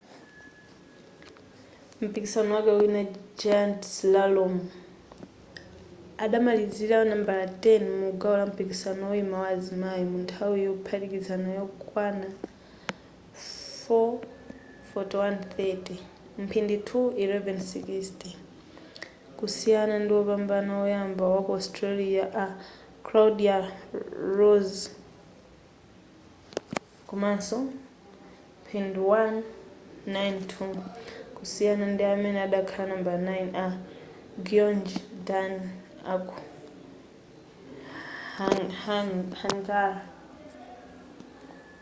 mumpikisano wake wina giant slalom adamalizira nambala 10 mugawo lampikisano woyima wa azimayi munthawi yophatikiza yokwana 4:41:30; mphindi 2:11:60 kusiyana ndiwopambana woyamba waku austria a claudia loesch komaso mphindi 1:09:02 kusiyana ndiamene adakhala nambala 9 a gyöngyi dani aku hungary